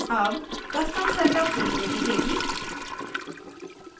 अब custom setup window दिखेगी